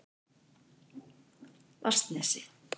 Vatnsnesi